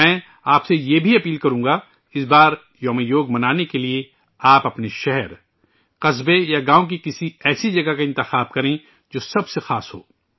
میں آپ سے بھی یہ درخواست کروں گا ، اس بار یوگ دیوس منانے کے لئے، آپ اپنے شہر، قصبے یا گاوں کی کسی ایسی جگہ منتخب کریں، جو سب سے خاص ہو